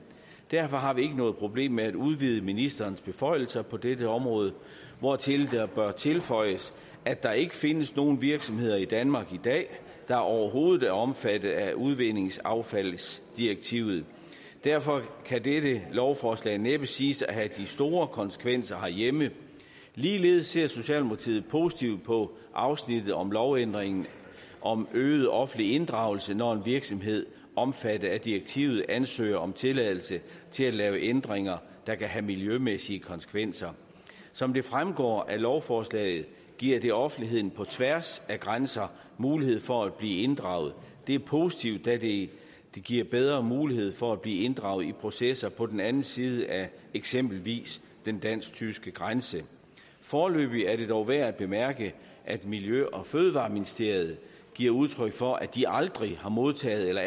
derfor har vi ikke noget problem med at udvide ministerens beføjelser på dette område hvortil der bør tilføjes at der ikke findes nogen virksomheder i danmark i dag der overhovedet er omfattet af udvindingsaffaldsdirektivet derfor kan dette lovforslag næppe siges at have de store konsekvenser herhjemme ligeledes ser socialdemokratiet positivt på afsnittet om lovændringen om øget offentlig inddragelse når en virksomhed omfattet af direktivet ansøger om tilladelse til at lave ændringer der kan have miljømæssige konsekvenser som det fremgår af lovforslaget giver det offentligheden på tværs af grænser mulighed for at blive inddraget det er positivt da det giver bedre mulighed for at blive inddraget i processer på den anden side af eksempelvis den dansk tyske grænse foreløbig er det dog værd at bemærke at miljø og fødevareministeriet giver udtryk for at de aldrig har modtaget eller